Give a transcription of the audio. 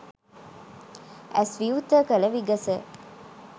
ඇස් විවෘත කළ විගස